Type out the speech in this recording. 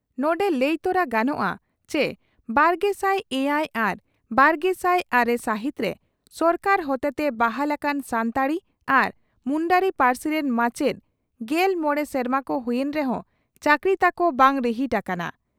ᱱᱚᱰᱮ ᱞᱟᱹᱭ ᱛᱚᱨᱟ ᱜᱟᱱᱚᱜᱼᱟ ᱪᱤ ᱵᱟᱨᱜᱮᱥᱟᱭ ᱮᱭᱟᱭ ᱟᱨ ᱵᱟᱨᱜᱮᱥᱟᱭ ᱟᱨᱮ ᱥᱟᱹᱦᱤᱛᱨᱮ ᱥᱚᱨᱠᱟᱨ ᱦᱚᱛᱮᱛᱮ ᱵᱟᱦᱟᱞ ᱟᱠᱟᱱ ᱥᱟᱱᱛᱟᱲᱤ ᱟᱨ ᱢᱩᱱᱰᱟᱨᱤ ᱯᱟᱹᱨᱥᱤ ᱨᱮᱱ ᱢᱟᱪᱮᱛ ᱜᱮᱞ ᱢᱚᱲᱮ ᱥᱮᱨᱢᱟ ᱠᱚ ᱦᱩᱭᱮᱱ ᱨᱮᱦᱚᱸ ᱪᱟᱠᱨᱤ ᱛᱟᱠᱚ ᱵᱟᱝ ᱨᱤᱦᱤᱴ ᱟᱠᱟᱱᱟ ᱾